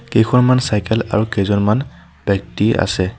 কেইখনমান চাইকেল আৰু কেইজনমান ব্যক্তি আছে।